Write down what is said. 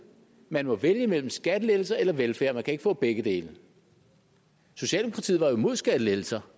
man må vælge mellem skattelettelser eller velfærd man kan ikke få begge dele socialdemokratiet var jo imod skattelettelser